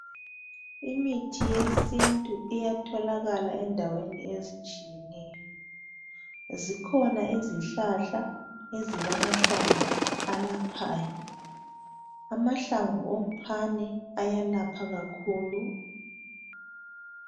Imithi yesintu iyatholakala endaweni ezitshiyeneyo. Zikhona izihlahla ezilamahlamvu alaphayo. Amahlamvu omphane ayalapha kakhulu.